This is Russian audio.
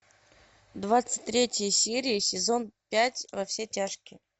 двадцать третья серия сезон пять во все тяжкие